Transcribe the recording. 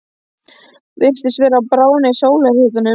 Virtist vera að bráðna í sólarhitanum.